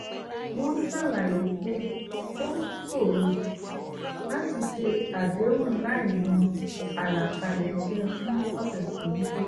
wọ́n ṣàlàyé pé ó ṣòro láti ṣe àdéhùn láìmọ̀ àlàkalẹ̀ iṣẹ́ fún ọ̀ṣẹ̀ tó ń bọ̀